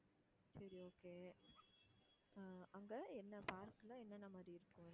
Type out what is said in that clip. சரி okay ஹம் அங்க என்ன park ல என்னென்ன மாதிரி இருக்கும்.